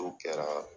O kɛra